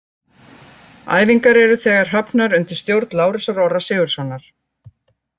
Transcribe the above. Æfingar eru þegar hafnar undir stjórn Lárusar Orra Sigurðssonar.